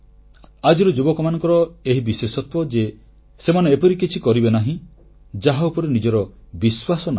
ଆଜିର ଯୁବକମାନଙ୍କର ଏହି ବିଶେଷତ୍ୱ ଯେ ସେମାନେ ଏପରି କିଛି ବି କରିବେ ନାହିଁ ଯାହା ଉପରେ ନିଜର ବିଶ୍ୱାସ ନାହିଁ